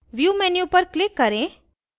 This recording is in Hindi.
view menu पर click करें